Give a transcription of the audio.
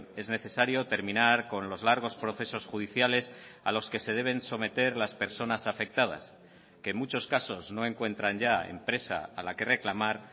es necesario terminar con los largos procesos judiciales a los que se deben someter las personas afectadas que en muchos casos no encuentran ya empresa a la que reclamar